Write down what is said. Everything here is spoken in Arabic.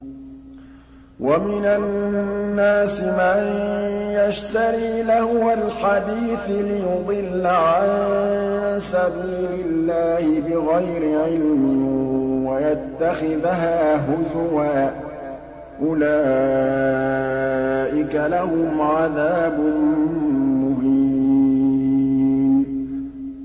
وَمِنَ النَّاسِ مَن يَشْتَرِي لَهْوَ الْحَدِيثِ لِيُضِلَّ عَن سَبِيلِ اللَّهِ بِغَيْرِ عِلْمٍ وَيَتَّخِذَهَا هُزُوًا ۚ أُولَٰئِكَ لَهُمْ عَذَابٌ مُّهِينٌ